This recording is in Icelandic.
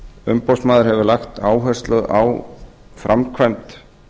umboðsmaður hefur lagt áherslu á framkvæmd